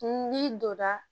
N'i donna